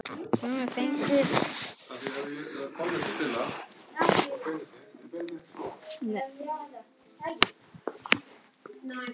Sumir fengu hærri upphæð.